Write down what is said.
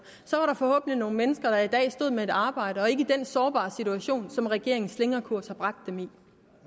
så var der forhåbentlig nogle mennesker der i dag stod med et arbejde og ikke i den sårbare situation som regeringens slingrekurs har bragt dem